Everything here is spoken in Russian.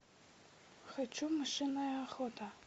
хочу мышиная охота